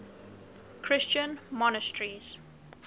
christian monasteries